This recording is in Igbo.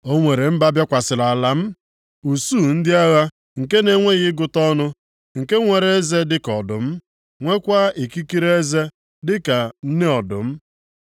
O nwere mba bịakwasịrị ala m, usuu ndị agha nke na-enweghị ịgụta ọnụ; nke nwere eze dịka ọdụm, nweekwa ikiri eze dịka ka nne ọdụm.